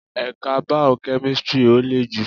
Ẹ̀ka bao-kẹ́mísri ó lè jù